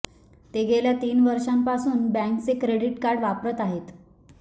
ते या गेल्या तीन वर्षापासून बँकेचे क्रेडिट कार्ड वापरत आहेत